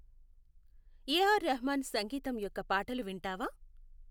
ఏ R Rahman సంగీతం యొక్క పాటలు వింటావా